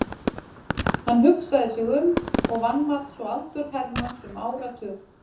Hann hugsaði sig um og vanmat svo aldur Hermanns um áratug.